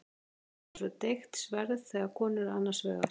Hún er eins og deigt sverð þegar konur eru annars vegar.